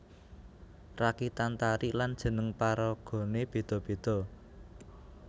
Rakitan tari lan jeneng paragané béda béda